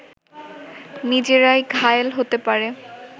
নিজেরাই ঘায়েল হতে পারে